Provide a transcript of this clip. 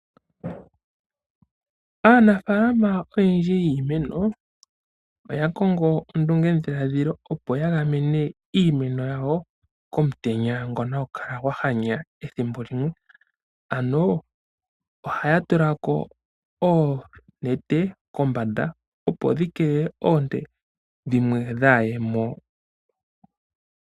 Aanafaalama oyendji yiimeno, oya kongo ondungedhiladhilo opo ya keelele iimeno komutenya ngono hagu kala gwa hanya ethimbo limwe. Ano oya tula ko oonete kombanda opo dhi keelele oonte dhimwe dhaaye mo.